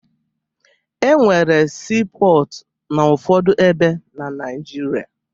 E nwere siipọọtụ n'ụfọdụ ebe na Naịjirịa